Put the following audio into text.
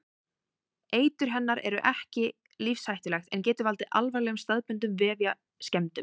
Eitur hennar er ekki lífshættulegt en getur valdið alvarlegum staðbundnum vefjaskemmdum.